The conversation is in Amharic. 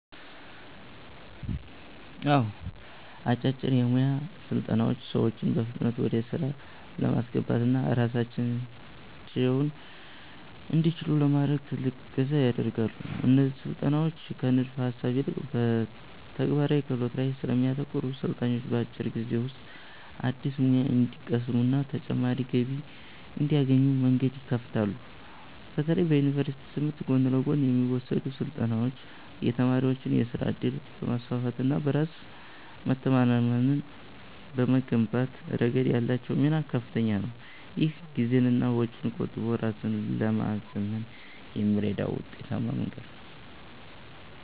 አዎ፣ አጫጭር የሞያ ስልጠናዎች ሰዎችን በፍጥነት ወደ ሥራ ለማስገባትና ራሳቸውን እንዲችሉ ለማድረግ ትልቅ እገዛ ያደርጋሉ። እነዚህ ስልጠናዎች ከንድፈ-ሐሳብ ይልቅ በተግባራዊ ክህሎቶች ላይ ስለሚያተኩሩ፣ ሰልጣኞች በአጭር ጊዜ ውስጥ አዲስ ሙያ እንዲቀስሙና ተጨማሪ ገቢ እንዲያገኙ መንገድ ይከፍታሉ። በተለይ በዩኒቨርሲቲ ትምህርት ጎን ለጎን የሚወሰዱ ስልጠናዎች የተማሪዎችን የሥራ ዕድል በማስፋትና በራስ መተማመንን በመገንባት ረገድ ያላቸው ሚና ከፍተኛ ነው። ይህም ጊዜንና ወጪን ቆጥቦ ራስን ለማዘመን የሚረዳ ውጤታማ መንገድ ነው።